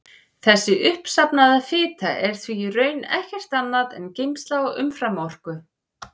Þessi uppsafnaða fita er því í raun ekkert annað en geymsla á umframorku.